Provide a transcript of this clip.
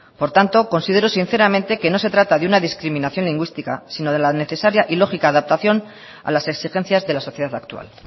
por tanto considero sinceramente que no se trata de una discriminación lingüística sino de la necesaria y lógica adaptación a las exigencias de la sociedad actual